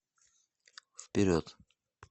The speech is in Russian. вперед